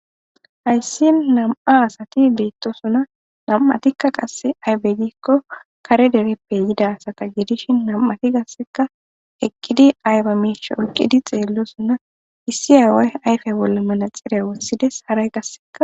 hayssi nam''a asati beettoosona nam7atikka qasse aybe giikko kare dereppe yida asata gidishin nam7ati gasseka eqqidi ayba miisha oyqidi xeellosona issi aaway ayfe bolla manaxireya wothides haray gasseka